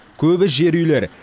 көбі жер үйлер